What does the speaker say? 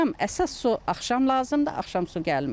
Axşam əsas su axşam lazımdır, axşam su gəlmir.